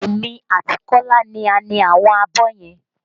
Èmi àti Kola ni a ni àwọn abọ́ yẹn